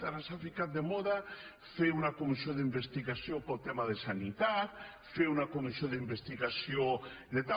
ara s’ha ficat de moda fer una comissió d’investigació pel tema de sanitat fer una comissió d’investigació de tal